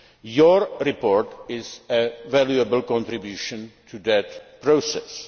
Your report is a valuable contribution to that